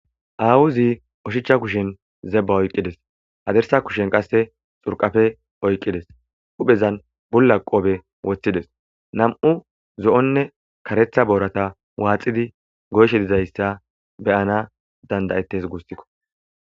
Aawuzi oshicha kushen zebba oyqqides adersa kushen qasse xurqafe oyqqides huphezan bulla qoobe woththides nam'u zo'onne karetha boorata waaxidi goyshe dizayssa beyana dandayettes gussikko.